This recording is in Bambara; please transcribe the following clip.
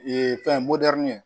Ee fɛn ye